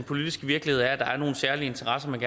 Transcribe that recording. politiske virkelighed er at der er nogle særlige interesser man